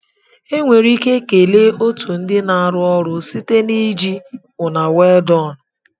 Enwere ike kelee otu ndị na-arụ ọrụ site na iji " una well done o".